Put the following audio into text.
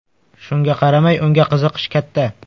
Shunga qaramay unga qiziqish katta.